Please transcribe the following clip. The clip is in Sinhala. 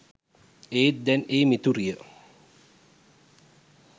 ඒත් දැන් ඒ මිතුරිය